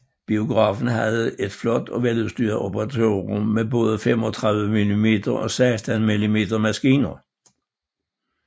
Biografen havde et flot og veludstyret operatørrum med både 35mm og 16mm maskiner